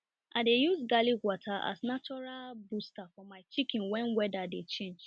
i dey use garlic water as natural booster for my chicken when weather dey change